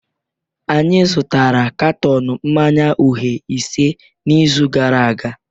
Anyị zụtara katọn mmanya uhie ise n'izu gara aga